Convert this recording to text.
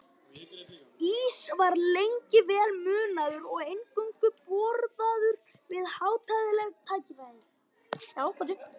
Ís var lengi vel munaður og eingöngu borðaður við hátíðleg tækifæri.